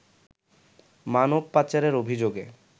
মানব পাচারের অভিযোগে